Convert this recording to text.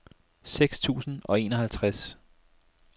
seks tusind og enoghalvtreds